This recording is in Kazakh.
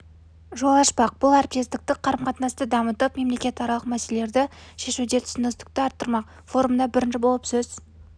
жол ашпақ бұл әріптестік қарым-қатынасты дамытып мемлекетаралық мәселелерді шешуде түсіністікті арттырмақ форумда бірінші болып сөз